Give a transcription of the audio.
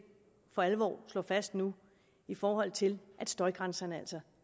for alvor slår fast nu i forhold til at støjgrænserne altså